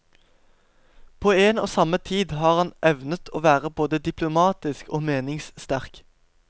På en og samme tid har han evnet å være både diplomatisk og meningssterk.